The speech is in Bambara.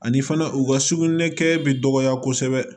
Ani fana u ka sukunɛ kɛ bɛ dɔgɔya kosɛbɛ